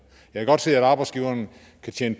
christian